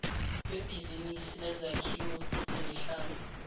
webhizinisi lezakhiwo nemihlaba